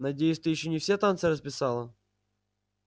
надеюсь ты ещё не все танцы расписала